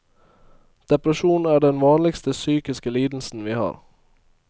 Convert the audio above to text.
Depresjon er den vanligste psykiske lidelsen vi har.